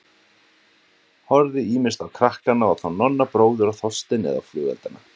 Horfði ýmist á krakkana og þá Nonna bróður og Þorstein eða á flugeldana.